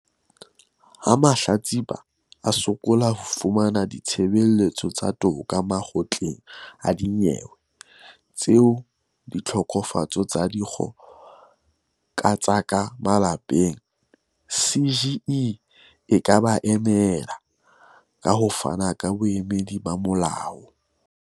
Ha mahlatsipa a sokola ho fumana ditshebeletso tsa toka Makgotleng a Dinyewe tsa Ditlhokofatso tsa Dikgo ka tsa ka Malapeng, CGE e ka ba emela, ka ho fana ka boemedi ba molao.